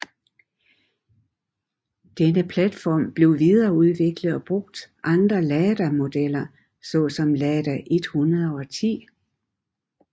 Denne platform blev videreudviklet og brugt andre Lada modeller så som Lada 110